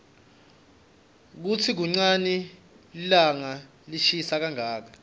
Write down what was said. kutsi kunqani lilanqa lishisa kanqaka